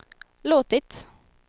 låtit